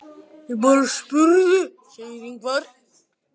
Ég bara spurði segir Ingvar.